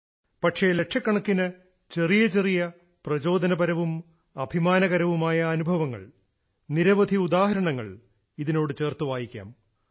പക്ഷേ ലക്ഷക്കണക്കിന് ചെറിയ ചെറിയ പ്രചോദനപരവും അഭിമാനകരവുമായ അനുഭവങ്ങൾ നിരവധി ഉദാഹരണങ്ങൾ ഇതിനോട് ചേർത്തു വായിക്കാം